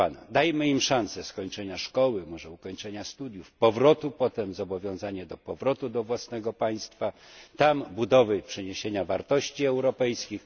Dajmy im szansę skończenia szkoły, może ukończenia studiów, ze zobowiązaniem do powrotu potem do własnego państwa, a tam budowy i przeniesienia wartości europejskich.